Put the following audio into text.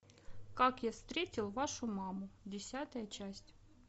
как я встретил вашу маму десятая часть